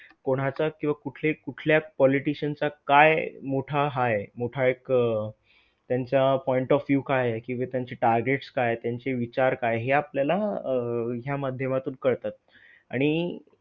कोणाचा किंवा कुठले कुठल्या politician चा काय मोठा हा आहे मोठा एक त्यांच्या point of view काय आहे? किंवा त्यांची targets काय आहेत? त्यांची विचार काय आहे? हे आपल्याला अह ह्या माध्यमातून कळतात, आणि